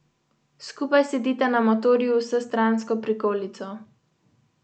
Zoran Janković je znan po tem, da zna stopnjevati napetost pred ključnimi odločitvami.